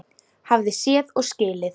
Hafði séð og skilið.